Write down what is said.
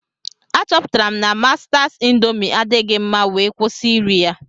Achọpụtara m na Mastas indoomi adighi mma wee kwụsị iri ya.